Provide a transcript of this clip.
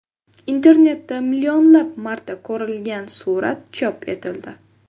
Internetda millionlab marta ko‘rilgan surat chop etildi.